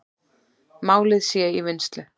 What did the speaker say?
Málið sé í vinnslu.